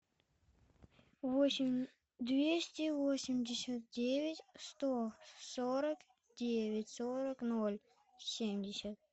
восемь двести восемьдесят девять сто сорок девять сорок ноль семьдесят